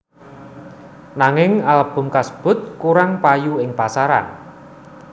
Nanging album kasebut kurang payu ing pasaran